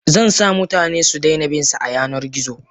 Zansa mutane sudaina binsa a yanar gizo.